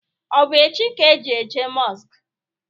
Ọ bụ echi ka e ji eje mosku?